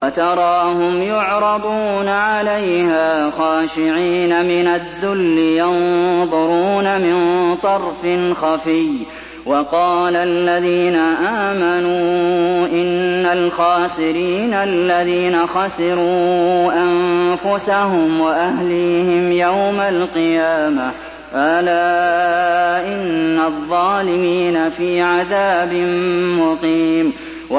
وَتَرَاهُمْ يُعْرَضُونَ عَلَيْهَا خَاشِعِينَ مِنَ الذُّلِّ يَنظُرُونَ مِن طَرْفٍ خَفِيٍّ ۗ وَقَالَ الَّذِينَ آمَنُوا إِنَّ الْخَاسِرِينَ الَّذِينَ خَسِرُوا أَنفُسَهُمْ وَأَهْلِيهِمْ يَوْمَ الْقِيَامَةِ ۗ أَلَا إِنَّ الظَّالِمِينَ فِي عَذَابٍ مُّقِيمٍ